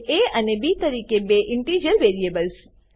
અને એ અને બી તરીકે બે ઇન્ટિજર વેરિએબલ્સ ઇન્ટીજર વેરીએબલો